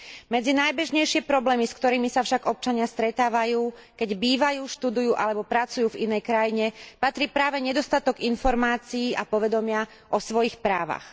Medzi najbežnejšie problémy, s ktorými sa však občania stretávajú, keď bývajú, študujú alebo pracujú v inej krajine, patrí práve nedostatok informácií a povedomia o svojich právach.